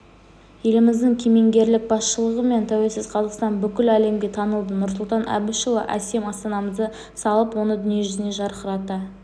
елбасымыздың кемеңгерлік басшылығымен тәуелсіз қазақстан бүкіл әлемге танылды нұрсұлтан әбішұлы әсем астанамызды салып оны дүниежүзіне жарқырата